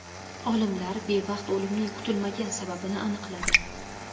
Olimlar bevaqt o‘limning kutilmagan sababini aniqladi.